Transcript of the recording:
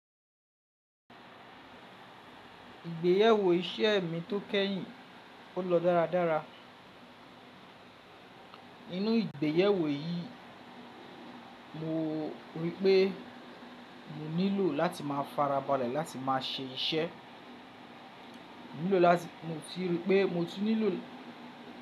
Ìgbéyàwó iṣẹ́ mí tó kẹ́yìn ó lọ dáradára. Inú ìgbéyàwó yìí, mọ rí pé mọ nílò láti máa farabalẹ̀ láti máa ṣe iṣẹ́. Mọ ti rí pé mo ti nílò.